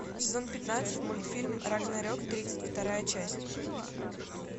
сезон пятнадцать мультфильм рагнарек тридцать вторая часть